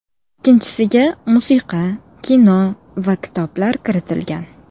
Ikkinchisiga musiqa, kino va kitoblar kiritilgan.